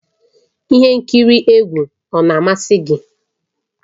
Ihe nkiri egwu ọ na-amasị gị?